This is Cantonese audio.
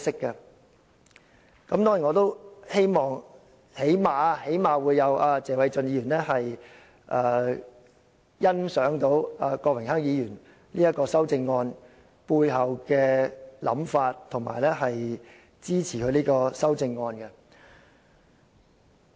當然，最低限度謝偉俊議員能欣賞郭榮鏗議員這項修正案背後的想法，並支持他的修正案。